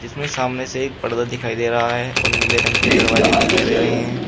इसमें सामने से एक पर्दा दिखाई दे रहा है और नीले रंग के दरवाजे दिखाई दे रहे हैं।